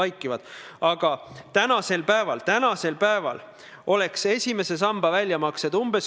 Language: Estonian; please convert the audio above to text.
Aga ma tahan teha ettepaneku vaadata selle raudteeseaduse menetlemise käigus läbi ka veel kaks teist punkti.